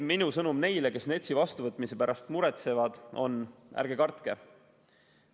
Minu sõnum neile, kes NETS-i vastuvõtmise pärast muretsevad, on, et ärge kartke.